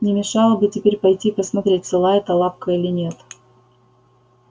не мешало бы теперь пойти и посмотреть цела эта лапка или нет